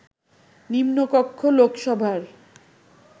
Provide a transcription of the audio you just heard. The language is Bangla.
নিম্নকক্ষ লোকসভার